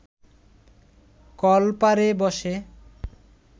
কলপারে বসে